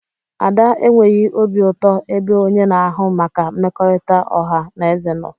Ada enweghị obi ụtọ ebe onye na-ahụ maka mmekọrịta ọha na eze nọ.